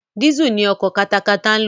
Diesel ni ọkọ̀ katakata ń lò.